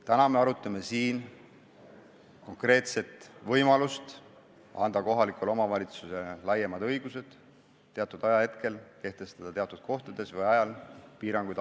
Täna me arutame konkreetset võimalust anda kohalikule omavalitsusele laiemad õigused kehtestada teatud ajahetkel teatud kohtades või ajal alkoholimüügi piiranguid.